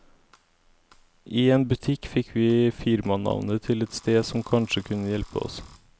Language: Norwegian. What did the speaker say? I en butikk fikk vi firmanavnet til et sted som kanskje kunne hjelpe oss.